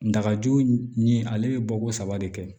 Dagaju nin ale bɛ bɔ ko saba de kɛ